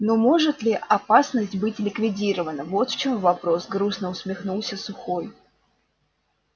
но может ли опасность быть ликвидирована вот в чём вопрос грустно усмехнулся сухой